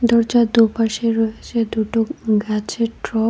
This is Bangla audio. দরজার দুপাশে রয়েছে দুটো উম গাছের ট্রব ।